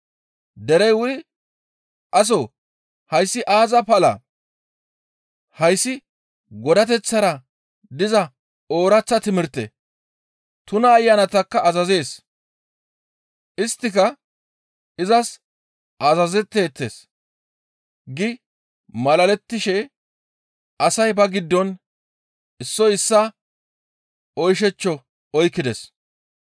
Derey wuri, «Aso hayssi aaza palaa? Hayssi godateththara diza ooraththa timirte; tuna ayanatakka azazees; isttika izas azazetteettes» gi malalettishe asay ba giddon issoy issaa oyshechcho oykkides.